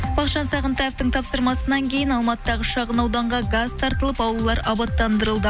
бақытжан сағынтаевтың тапсырмасынан кейін алматыдағы шағын ауданға газ тартылып аулалар абаттандырылды